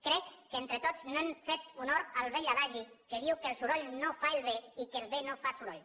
crec que entre tots no hem fet honor al vell adagi que diu que el soroll no fa el bé i que el bé no fa soroll